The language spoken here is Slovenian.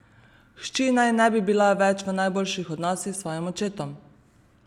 Hči naj ne bi bila več v najboljših odnosih s svojim očetom.